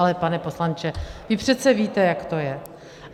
Ale pane poslanče, vy přece víte, jak to je.